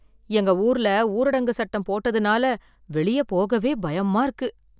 எங்க ஊர்ல ஊரடங்கு சட்டம் போட்டதுனால வெளியே போகவே பயமா இருக்கு